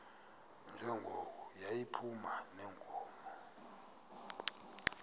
njengoko yayiphuma neenkomo